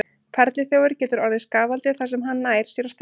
Perluþjófur getur orðið skaðvaldur þar sem hann nær sér á strik.